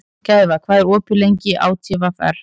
Gæfa, hvað er opið lengi í ÁTVR?